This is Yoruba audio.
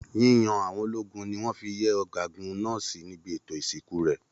Yíyan àwọn ológun ní wọn fí yẹ ọgágun náà sí níbi ètò ìsìnkú rẹ.